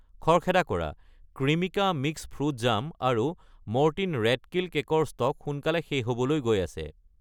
খৰখেদা কৰা, Creamica mix fruit jam আৰু মৰ্টিন ৰেট কিল কেক ৰ ষ্টক সোনকালে শেষ হ'বলৈ গৈ আছে।